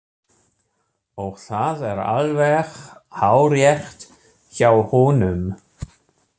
Og það er alveg hárrétt hjá honum.